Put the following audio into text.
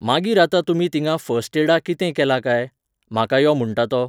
मागीर आता तुमी थिंगा फर्स्ट एडा कितें केलां काय, म्हाका यो म्हुणटा तो.